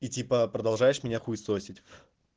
и типа продолжаешь меня хуесосить